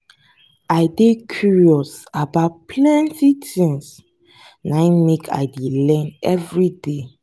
i dey curious about plenty tins na im make i dey learn everyday.